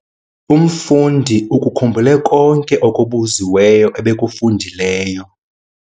Umfundi ukukhumbule konke okubuziweyo okufundileyo.